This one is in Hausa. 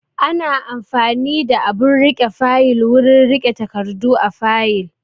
Ana amfani da abun riƙe fayil wurin riƙe takardu a fayil